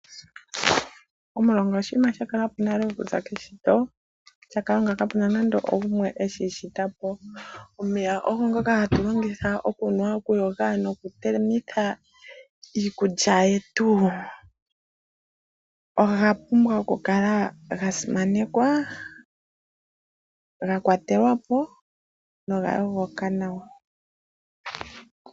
Omulonga oshinima sha kala po nale okuza keshito lyaKalunga. Omeya ogo ngoka hatu longitha okunwa, okuyoga nokutelekitha iikulya yetu. Oga pumbwa okukala ga simanekwa, ga kwatelwa po noga yogoka nawa.